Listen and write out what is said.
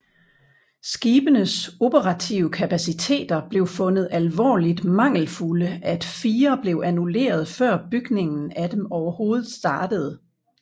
Skibenes operative kapaciteter blev fundet alvorligt mangelfulde at fire blev annulleret før bygningen af dem overhovedet startede